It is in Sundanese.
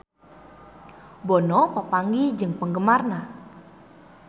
Bono papanggih jeung penggemarna